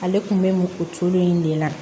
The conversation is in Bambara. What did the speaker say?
Ale kun bɛ o cogo in de la